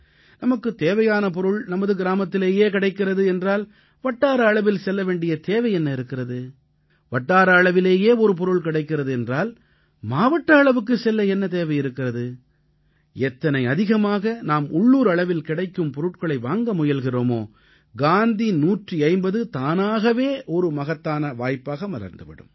நமக்குத் தேவையான பொருள் நமது கிராமத்திலேயே கிடைக்கிறது என்றால் வட்டார அளவில் செல்ல வேண்டிய தேவை என்ன இருக்கிறது வட்டார அளவிலேயே ஒரு பொருள் கிடைக்கிறது என்றால் மாவட்ட அளவுக்குச் செல்ல என்ன தேவை இருக்கிறது எத்தனை அதிகமாக நாம் உள்ளூர் அளவில் கிடைக்கும் பொருட்களை வாங்க முயல்கிறோமோ காந்தி 150 தானாகவே ஒரு மகத்தான வாய்ப்பாக மலர்ந்து விடும்